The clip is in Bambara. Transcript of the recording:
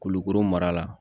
Kulukoro mara la